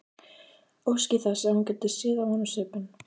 Óski þess að hún gæti séð á honum svipinn.